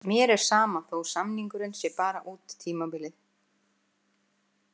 Mér er sama þó samningurinn sé bara út tímabilið.